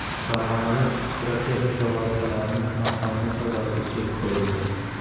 Farg‘onada pirotexnika vositalarining noqonuniy savdosiga chek qo‘yildi.